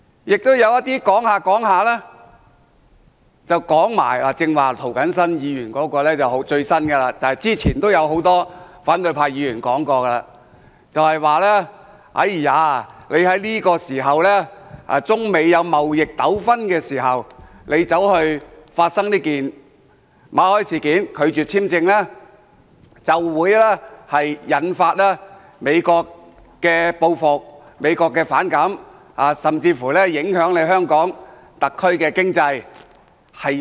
亦有一些議員說着說着，例如涂謹申議員剛才所說的是最新的理由，之前也有很多反對派議員說過，就是特區政府在中美出現貿易糾紛時拒絕馬凱簽證申請，會引發美國的反感和報復，影響香港特區的經濟。